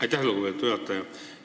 Aitäh, lugupeetud juhataja!